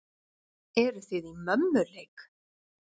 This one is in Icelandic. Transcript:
Eruð þið í mömmuleik!